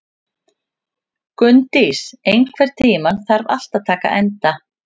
Gunndís, einhvern tímann þarf allt að taka enda.